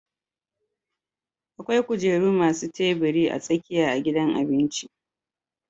Akwai kujeru masu tabiri a tsakiya a gidan abinci